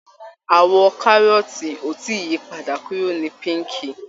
Àwọ̀ kárọ́ọ̀tì ò tí ì yi padà kúrò ní píńkì